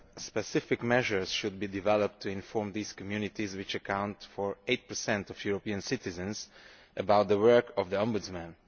Specific measures should be developed to inform these communities, which account for 8 of European citizens, about the work of the Ombudsman.